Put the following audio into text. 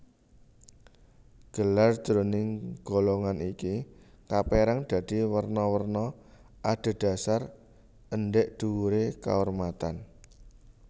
Gelar jroning golongan iki kapérang dadi werna werna adhedhasar endhèk dhuwuré kaurmatan